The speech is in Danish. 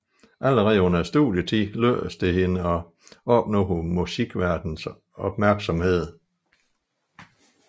Allerede under studietiden lykkedes det hende at opnå musikverdenens opmærksomhed